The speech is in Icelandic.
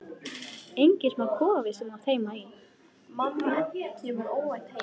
Enginn smá kofi sem þú átti heima í!